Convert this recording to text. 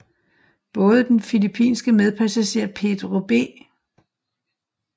Både den filippinske medpassager Pedro B